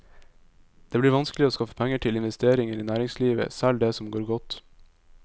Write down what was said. Det blir vanskeligere å skaffe penger til investeringer i næringslivet, selv det som går godt.